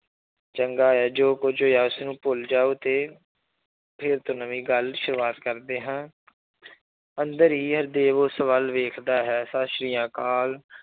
ਚੰਗਾ ਹੈ ਜੋ ਕੁੱਝ ਹੋਇਆ ਉਸਨੂੰ ਭੁੱਲ ਜਾਓ ਤੇ ਫਿਰ ਤੋਂ ਨਵੀਂ ਗੱਲ ਸ਼ੁਰੂਆਤ ਕਰਦੇ ਹਾਂ ਅੰਦਰ ਹੀ ਹਰਦੇਵ ਉਸ ਵੱਲ ਵੇਖਦਾ ਹੈ ਸਤਿ ਸ੍ਰੀ ਅਕਾਲ